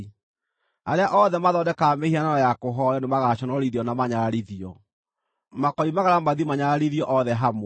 Arĩa othe mathondekaga mĩhianano ya kũhooywo nĩmagaconorithio na manyararithio; makoimagara mathiĩ manyararithio othe hamwe.